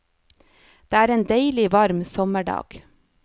Det er en deilig varm sommerdag.